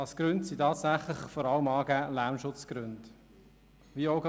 Als Gründe sind dort vor allem Lärmschutzgründe angegeben.